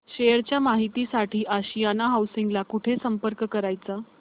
share च्या माहिती साठी आशियाना हाऊसिंग ला कुठे संपर्क करायचा